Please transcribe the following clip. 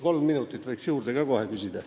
Kolm minutit võiks juurde saada.